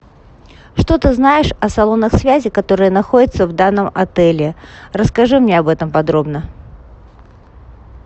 что ты знаешь о салонах связи которые находятся в данном отеле расскажи мне об этом подробно